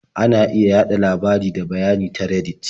Ana iya yaɗa labarai da bayanai ta Reddit.